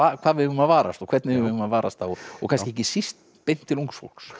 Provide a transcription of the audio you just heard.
hvað við eigum að varast og hvernig við eigum að varast og kannski ekki síst beint til ungs fólks